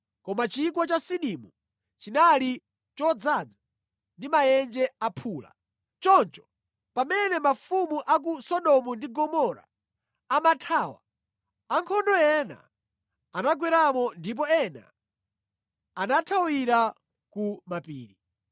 Koma Chigwa cha Sidimu chinali chodzaza ndi maenje aphula. Choncho pamene mafumu a ku Sodomu ndi Gomora amathawa, ankhondo ena anagweramo ndipo ena anathawira ku mapiri.